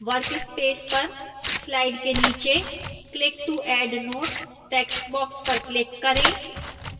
workspace पर slide के नीचे click to add notes textbox पर click करें